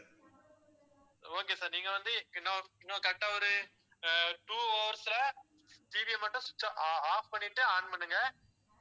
okay sir நீங்க வந்து இன்னும் இன்னும் correct ஆ ஒரு two hours ல TV ய மட்டும் switch of~ off பண்ணிட்டு on பண்ணுங்க